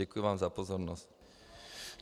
Děkuji vám za pozornost.